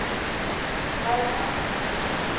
Vernharð